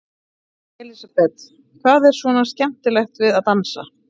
Elísabet: Hvað er svona skemmtilegt við að dansa?